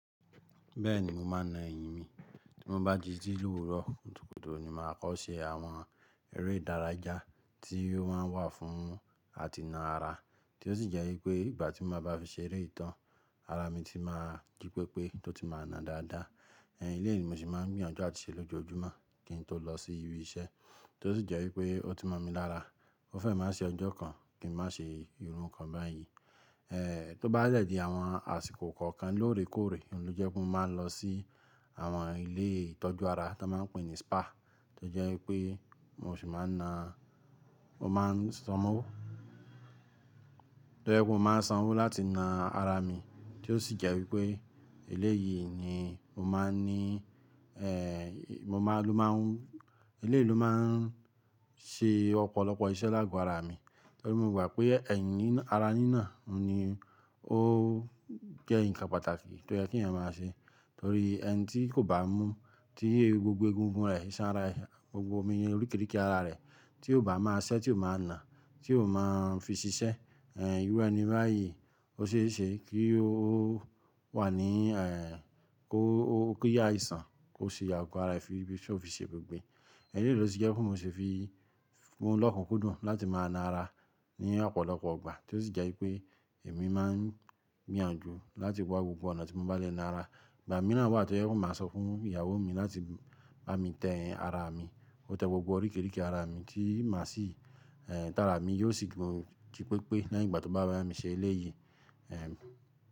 Bẹ́ẹ̀ni mo máa n na eyín mi. Tí mo bá ti ji ni owuro kutúkutù, ni màá kọ́ ṣe àwọn eré ìdáraya tí ó máa ń wà fún àtìná ara, tí ó sì jẹ́ wípé ìgbà tí mo bá fi ṣe eré ìtàn, ara mi ti máa jí pépé tó ti máa na dáadáa. Ẹ̀n eleyìí ni mo sì máa ń gbìyànjú àti ṣe lójoojúmọ́ kí n tó lọ sí ibi iṣẹ́, tí ó sì jẹ́ wípé ó ti mọ̀ mi lára. Ó fẹ́ máa ṣi ọjọ́ kan kí n má ṣe irun kan báyìí. Ẹ̀ tó bá lẹ̀ di àwọn àsìkò kọ̀ọ̀kan lóòrèkóòrè, òun ló jẹ́ pé mo máa ń lọ sí àwọn ilé ìtọ́jú ara tí wọ́n máa ń pè ní spa, tí ó jẹ́ wípé mo sì máa na-- mo máa san owó. To je wipé mo máa san owó láti na ara mi, tí ó sì jẹ́ wípé eleyii ni mo máa ní, ẹ́ mo máa n ló máa ń-- eleyii ló máa ń ṣe ọ̀pọ̀lọpọ̀ iṣẹ́ láàgò ara mi. Torí mo mọ̀ pé ẹ̀yin nína ara nína, òun ni ó jẹ́ nǹkan pàtàkì tí ó yẹ kí èèyàn máa ṣe. Torí ẹni tí kò bá mu tí gbogbo egungun rẹ̀, iṣan ara rẹ̀, gbogbo emi ni oríkìrìkì ara rẹ̀ tí o ba máa ṣẹ́, tí o máa na, tí kò máa ń fi ṣiṣẹ́, ẹ̀ iru eni báyìí ó ṣe é ṣe kí ó wà ní ẹ́ kó ki aìṣàn, kó ṣe ago ara rẹ̀ fí bí ṣó fi ṣe bugbé. Eleyìí ló ti jẹ́ pé mo sì fi mu lọ́kun kúdùn láti máa na ara ní ọ̀pọ̀lọpọ̀ igbà, tí ó sì jẹ́ wípé èmi máa ń gbìyànjú láti wá gbogbo ọ̀nà tí mo bá lè na ara. Ìgbà mìíràn wà tó jẹ́ wipe máa sọ fún ìyàwó mi láti bá mi tẹ ẹyin ara mi. Ki o tẹ gbogbo oríkìrìkì ara mi tí má sì ẹ́ tààrà mi yóò sì tun jí pépé ní eyin ìgbà tí ó bá bá mi ṣe eleyìí. Ẹ̀